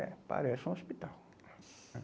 É, parece um hospital. Nossa.